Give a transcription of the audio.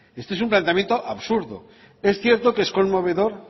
este es un planteamiento absurdo es cierto que es conmovedor